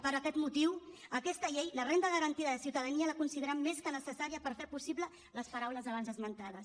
per aquest motiu aquesta llei la renda garantida de ciutadania la considerem més que necessària per fer possible les paraules abans esmentades